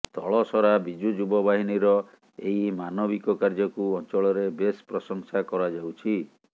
ତଳସରା ବିଜୁ ଯୁବ ବାହିନୀର ଏହି ମାନବିକ କାର୍ଯ୍ୟକୁ ଅଂଚଳରେ ବେଶ ପ୍ରଶଂସା କରାଯାଉଛି